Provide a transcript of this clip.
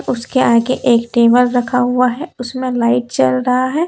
उसके आगे एक टेबल रखा हुआ है उसमें लाइट जल रहा है।